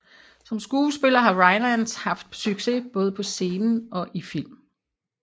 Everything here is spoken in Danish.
Som skuespiller har Rylance haft succes både på scenen og i film